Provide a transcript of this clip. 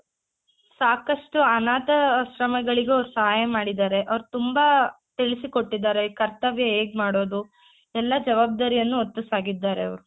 ಸಾಕಷ್ಟು ಅನಾಥಾಶ್ರಮಗಳಿಗೂ ಅವ್ರು ಸಹಾಯ ಮಾಡಿದಾರೆ ಅವ್ರು ತುಂಬಾ ತಿಳಿಸಿಕೊಟ್ಟಿದ್ದಾರೆ ಕರ್ತವ್ಯ ಹೇಗ್ ಮಾಡೋದು ಎಲ್ಲಾ ಜಾವಾಬ್ದಾರಿಯನ್ನು ಹೊತ್ತು ಸಾಗಿದ್ದಾರೆ ಅವ್ರು